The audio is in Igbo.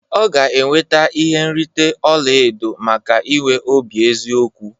Ọ ga-enweta ihe nrite ọla edo maka inwe obi eziokwu